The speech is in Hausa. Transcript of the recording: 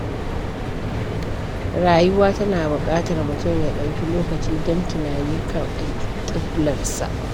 Rayuwa tana buƙatar mutum ya ɗauki lokaci don tunani kan alƙiblarsa.